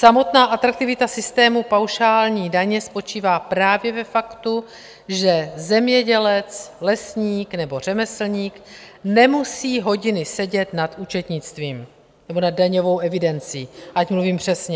Samotná atraktivita systému paušální daně spočívá právě ve faktu, že zemědělec, lesník nebo řemeslník nemusí hodiny sedět nad účetnictvím nebo nad daňovou evidencí, ať mluvím přesně.